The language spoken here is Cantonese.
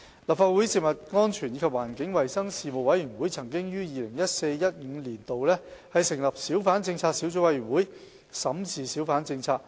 立法會食物安全及環境衞生事務委員會曾於 2014-2015 年度成立小販政策小組委員會審視小販政策。